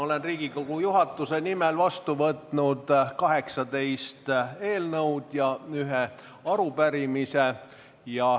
Olen Riigikogu juhatuse nimel võtnud vastu 18 eelnõu ja ühe arupärimise.